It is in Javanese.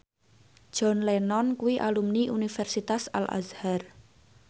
John Lennon kuwi alumni Universitas Al Azhar